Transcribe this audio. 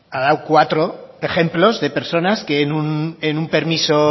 ha dado ejemplos de cuatro personas que en un permiso